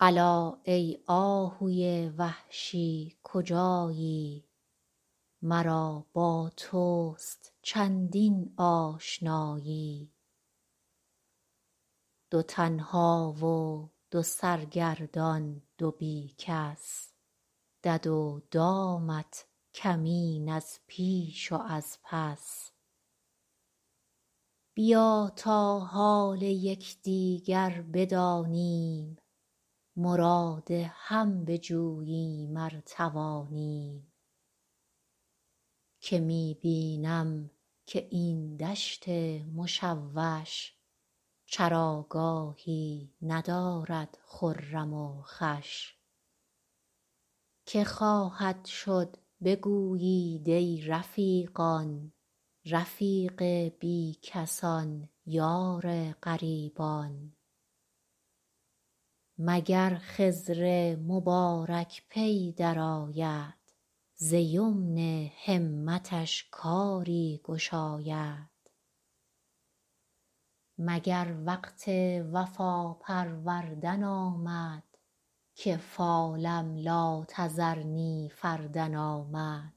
الا ای آهوی وحشی کجایی مرا با توست چندین آشنایی دو تنها و دو سرگردان دو بی کس دد و دامت کمین از پیش و از پس بیا تا حال یک دیگر بدانیم مراد هم بجوییم ار توانیم که می بینم که این دشت مشوش چراگاهی ندارد خرم و خوش که خواهد شد بگویید ای رفیقان رفیق بی کسان یار غریبان مگر خضر مبارک پی درآید ز یمن همتش کاری گشاید مگر وقت وفا پروردن آمد که فالم لا تذرنی فردا آمد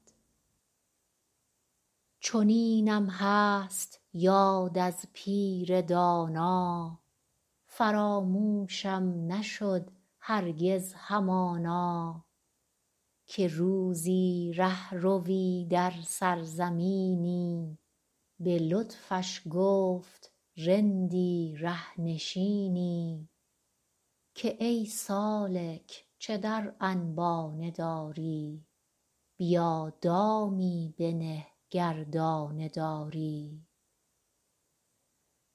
چنینم هست یاد از پیر دانا فراموشم نشد هرگز همانا که روزی ره روی در سرزمینی به لطفش گفت رندی ره نشینی که ای سالک چه در انبانه داری بیا دامی بنه گر دانه داری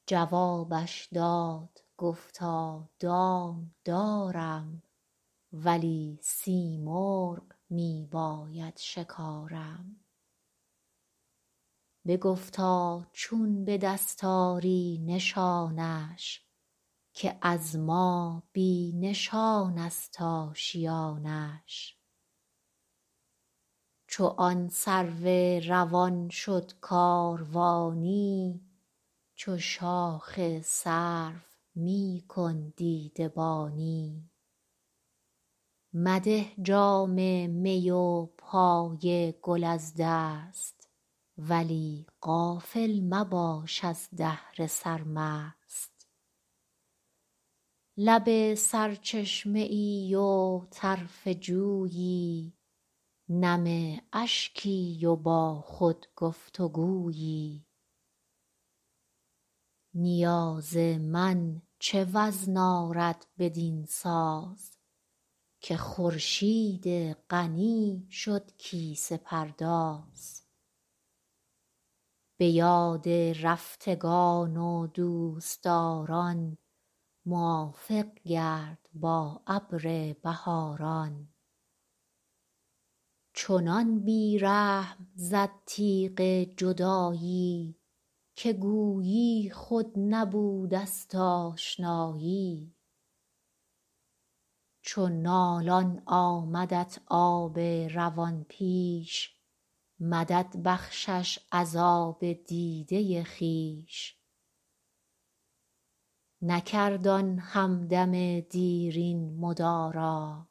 جوابش داد گفتا دام دارم ولی سیمرغ می باید شکارم بگفتا چون به دست آری نشانش که از ما بی نشان است آشیانش چو آن سرو روان شد کاروانی چو شاخ سرو می کن دیده بانی مده جام می و پای گل از دست ولی غافل مباش از دهر سرمست لب سرچشمه ای و طرف جویی نم اشکی و با خود گفت و گویی نیاز من چه وزن آرد بدین ساز که خورشید غنی شد کیسه پرداز به یاد رفتگان و دوست داران موافق گرد با ابر بهاران چنان بی رحم زد تیغ جدایی که گویی خود نبوده است آشنایی چو نالان آمدت آب روان پیش مدد بخشش از آب دیده خویش نکرد آن هم دم دیرین مدارا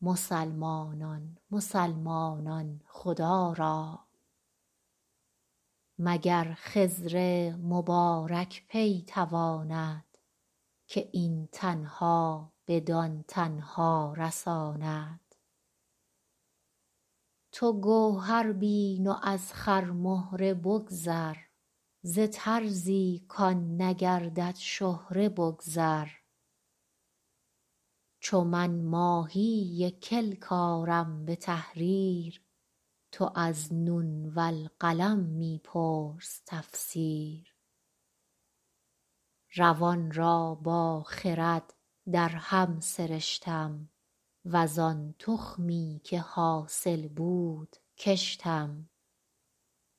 مسلمانان مسلمانان خدا را مگر خضر مبارک پی تواند که این تنها بدان تنها رساند تو گوهر بین و از خرمهره بگذر ز طرزی کآن نگردد شهره بگذر چو من ماهی کلک آرم به تحریر تو از نون والقلم می پرس تفسیر روان را با خرد درهم سرشتم وز آن تخمی که حاصل بود کشتم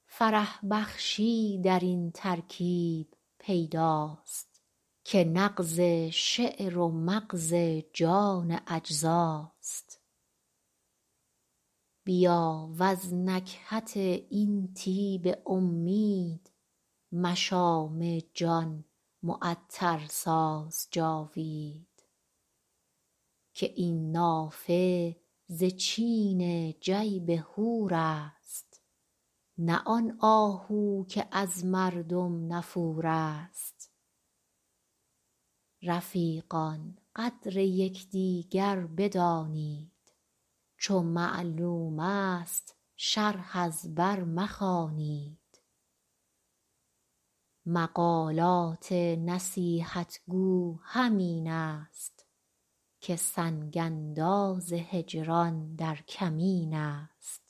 فرح بخشی درین ترکیب پیداست که نغز شعر و مغز جان اجزاست بیا وز نکهت این طیب امید مشام جان معطر ساز جاوید که این نافه ز چین جیب حور است نه آن آهو که از مردم نفور است رفیقان قدر یک دیگر بدانید چو معلوم است شرح از بر مخوانید مقالات نصیحت گو همین است که سنگ انداز هجران در کمین است